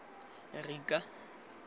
rika